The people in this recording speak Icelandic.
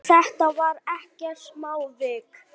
En þetta var ekkert smávik.